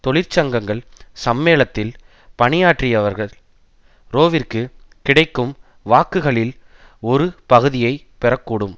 தொழிற்சங்கங்கள் சம்மேளத்தில் பணியாற்றியவர்கள் ரோவிற்கு கிடைக்கும் வாக்குகளில் ஒரு பகுதியை பெறக்கூடும்